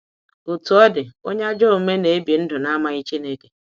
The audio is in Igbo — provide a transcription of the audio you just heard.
Otu ọ dị, onye ajọ omume na ebi ndụ na amaghị Chineke.